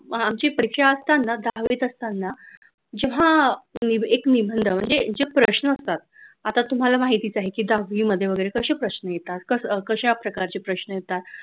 आमची परीक्षा असताना दहावीत असताना जेव्हा एक निबंध म्हणजे प्रश्न असतात आता तुम्हाला माहितीच आहे की दहावी मध्ये वगैरे कसे प्रश्न येतात कशा प्रकारचे प्रश्न येतात.